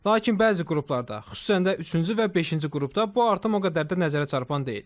Lakin bəzi qruplarda, xüsusən də üçüncü və beşinci qrupda bu artım o qədər də nəzərə çarpan deyil.